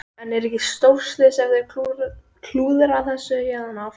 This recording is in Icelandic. En er ekki stórslys ef þeir klúðra þessu héðan af?